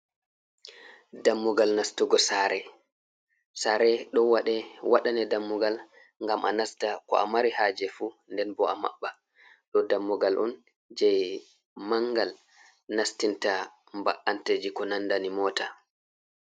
Dammugal nastugo saare. Saare ɗo waɗe, waɗane dammugal ngam a nasta, ko a mari haaje fu nden bo a maɓɓa. Ɗo dammugal on jei mangal nastinta mba’anteji ko nandani mota.